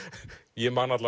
ég man alla